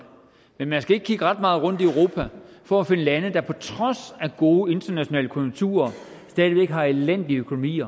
men man skal ikke kigge ret meget rundt i europa for at finde lande der på trods af gode internationale konjunkturer stadig væk har en elendig økonomi